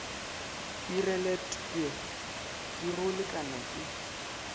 pireletpwe ka go lekana ke